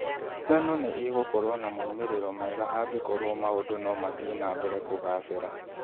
Ngano nĩ ĩgokorũo na moimĩrĩro mega angĩkorũo maũndũ no mathiĩ na mbere kũgaacĩra.